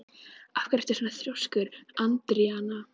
Af hverju ertu svona þrjóskur, Andríana?